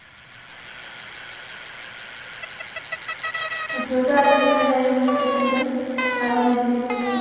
ଏଥର ତ ରାକ୍ଷୀ ପୁର୍ଣିମାରେ ଯାଇହବନି second year ବାବା ନେବେନି ଘରକୁ